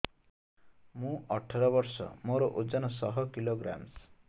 ମୁଁ ଅଠର ବର୍ଷ ମୋର ଓଜନ ଶହ କିଲୋଗ୍ରାମସ